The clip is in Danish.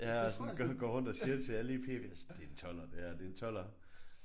Ja og sådan går går rundt og siger til alle i P det er en 12'er det her det en 12'er